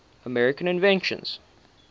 american inventions